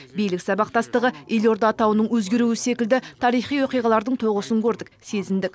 билік сабақтастығы елорда атауының өзгеруі секілді тарихи оқиғалардың тоғысын көрдік сезіндік